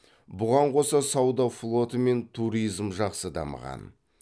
бұған қоса сауда флоты мен туризм жақсы дамыған